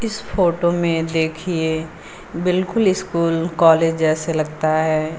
इस फोटो में देखिए बिल्कुल स्कूल कॉलेज जैसे लगता है।